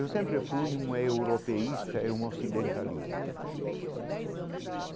Eu sempre fui um europeísta e um ocidentalista.